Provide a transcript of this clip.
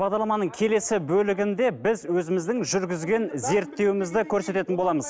бағдарламаның келесі бөлігінде біз өзіміздің жүргізген зерттеуімізді көрсететін боламыз